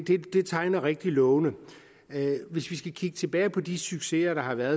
tegner rigtig lovende hvis vi skal kigge tilbage på de succeser der har været